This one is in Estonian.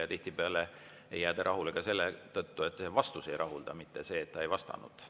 Ja tihtipeale ei jääda rahule ka selle tõttu, et vastus ei rahulda, mitte see, et ta ei vastanud.